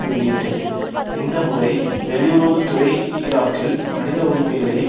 வெளியிட்டது இந்த முறை வெளியுறவு துறை ஈராக்கில் மனித உரிமைகளை